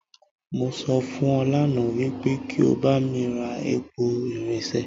Mo sọ fún ọ lánàá wípé kí o bá mi ra àpò irinṣẹ́